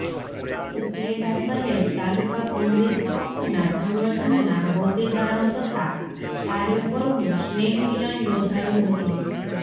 ઉપલેટા શહેર તાલુકા કોંગ્રેસ પક્ષના સંગઠનના હોદેદારો તથા કાર્યકરોનું સ્નેહમિલન યોજાયું હતું